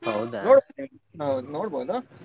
ಹೌದಾ .